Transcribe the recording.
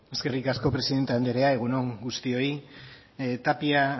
eskerrik asko presidente andrea egun on guztioi tapia